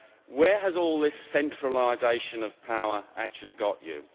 Where has all this centralisation of power actually got you?